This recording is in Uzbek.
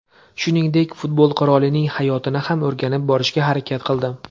Shuningdek, futbol qirolining hayotini ham o‘rganib borishga harakat qildim.